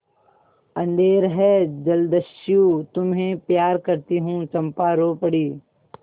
अंधेर है जलदस्यु तुम्हें प्यार करती हूँ चंपा रो पड़ी